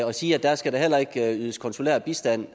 at sige at der skal der heller ikke ydes konsulær bistand